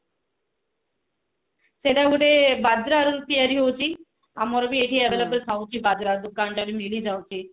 ସେଟା ବି ଗୋଟେ ବଜରା ରୁ ତିଆରି ହଉଛି ଆମର ବି ଏଠି ବଜରା ଦୁକାନ ରେ ମିଳିଯାଉଛି